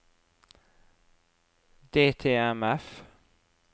DTMF